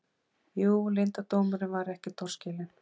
Jú, leyndardómurinn var ekki torskilinn.